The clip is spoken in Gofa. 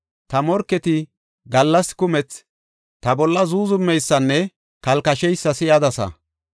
Ta morketi gallas kumethi ta bolla zuuzumeysanne kalkasheysa si7adasa.